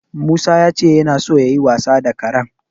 Musa ya ce yana so yayi wasa da karen.